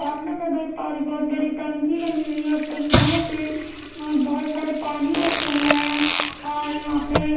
सामने मैं देख पा रही बहुत बड़ी टंकी बनी हुई है टंकियों में अह बहुत सारे पानी रखे हुए हैं और यहां पे--